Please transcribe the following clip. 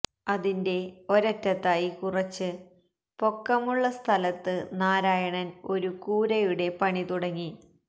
അതിന്റെ ഒരറ്റത്തായി കുറച്ച് പൊക്കമുള്ള സ്ഥലത്ത് നാരായണന് ഒരു കൂരയുടെ പണി തുടങ്ങി